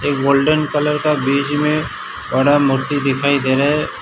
Golden colour का बीच में बड़ा मूर्ति दिखाई दे रहा है।